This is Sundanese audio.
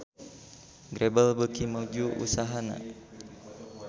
Grebel beuki maju usahana